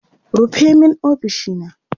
rufe min ofishina!